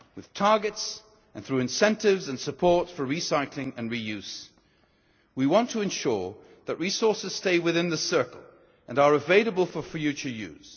With targets, and through incentives and support for recycling and reuse, we want to ensure that resources stay within the circle and are available for future use.